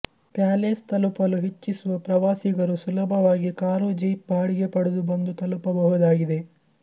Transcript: palace ತಲುಪಲು ಇಚ್ಛಿಸುವ ಪ್ರವಾಸಿಗರು ಸುಲಭವಾಗಿ ಕಾರು ಜೀಪ್ ಬಾಡಿಗೆ ಪಡೆದು ಬಂದು ತಲುಪಬಹುದಾಗಿದೆ